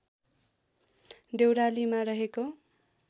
देउरालीमा रहेको